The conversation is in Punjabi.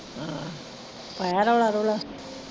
ਪਾਇਆ ਰੌਲਾ ਰੁਲਾ?